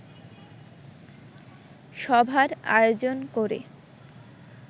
সভার আয়োজন করে